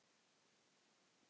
Hvað heita þær?